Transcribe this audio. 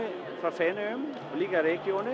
frá Feneyjum líka